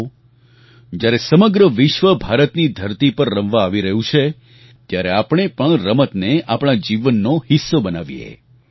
આવો જ્યારે સમગ્ર વિશ્વ ભારતની ધરતી પર રમવા આવી રહ્યું છે ત્યારે આપણે પણ રમતને આપણા જીવનનો હિસ્સો બનાવીએ